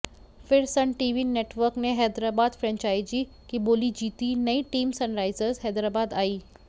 फिर Sun TV network ने Hyderabad franchisee की बोली जीती नई टीम सनराइजर्स हैदराबाद आई